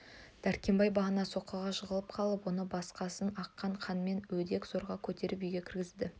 дәркембай бағана соққыға жығылып қалып оны басынан аққан қанымен өдек зорға көтеріп үйге кіргізді